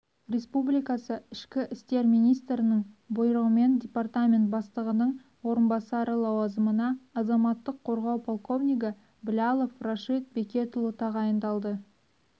республикасы ішкі істер министрінің бұйрығымен департамент бастығының орынбасары лауазымына азаматтық қорғау подполковнигі блялов рашид бекетұлы тағайындалды